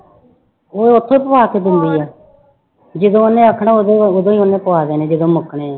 ਉਹ ਉੱਥੋਂ ਹੀ ਪਵਾ ਕੇ ਦਿੰਦੀ ਹੈ ਜਦੋਂ ਉਹਨੇ ਆਖਣਾ ਉਦੋਂ ਉਦੋਂ ਹੀ ਉਹਨੇ ਪਵਾ ਦੇਣੇ ਜਦੋਂ ਮੰਗਣੇ ਹੈ।